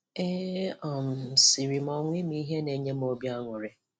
E um siri m ọnwụ ihe na-enye m obi aṅụrị.